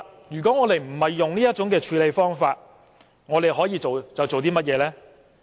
如果我們不是使用這種處理方法，我們還可以做甚麼呢？